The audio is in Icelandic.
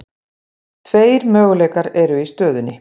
Tveir möguleikar eru í stöðunni.